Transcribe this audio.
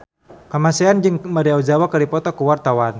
Kamasean jeung Maria Ozawa keur dipoto ku wartawan